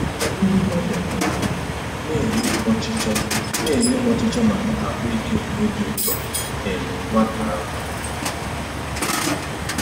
Ndị ọbịa tụgharịrị na-enye ọchịchọ na-enye ọchịchọ maka ahụike na obi ụtọ um nwata ahụ.